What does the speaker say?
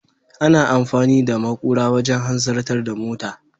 Ana amfani da makura wajen hanzarta da mota.